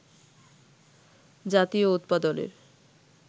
জাতীয় উৎপাদনের